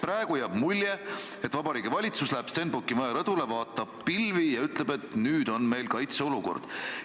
Praegu jääb mulje, et valitsus läheb Stenbocki maja rõdule, vaatab pilvi ja ütleb, et nüüd on meil kaitseolukord.